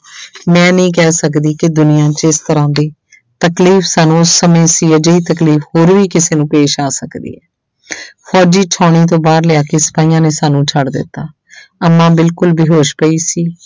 ਮੈਂ ਨਹੀਂ ਕਹਿ ਸਕਦੀ ਕਿ ਦੁਨੀਆਂ ਜਿਸ ਤਰ੍ਹਾਂ ਦੀ ਤਕਲੀਫ਼ ਸਾਨੂੰ ਉਸ ਸਮੇਂ ਸੀ ਅਜਿਹੀ ਤਕਲੀਫ਼ ਹੋਰ ਵੀ ਕਿਸੇ ਨੂੰ ਪੇਸ਼ ਆ ਸਕਦੀ ਹੈ ਫ਼ੌਜ਼ੀ ਸਾਉਣੀ ਤੋਂ ਬਾਹਰ ਲਿਆ ਕੇ ਸਿਪਾਹੀਆਂ ਨੇ ਸਾਨੂੰ ਛੱਡ ਦਿੱਤਾ ਅੰਮਾ ਬਿਲਕੁਲ ਬੇਹੋਸ਼ ਪਈ ਸੀ।